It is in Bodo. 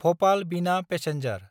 भपाल–बिना पेसेन्जार